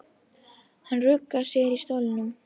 Hann ruggar sér í stólnum.